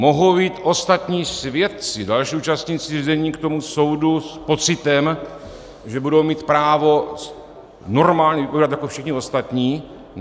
Mohou jít ostatní svědci, další účastníci řízení, k tomu soudu s pocitem, že budou mít právo normálně vypovídat jako všichni ostatní?